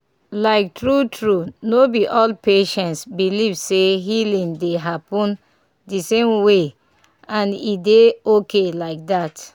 like true true no be all patients believe say healing dey happen the same way — and e dey okay like that."